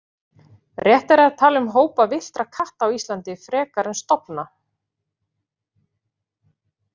Réttara er að tala um hópa villtra katta Íslandi frekar en stofna.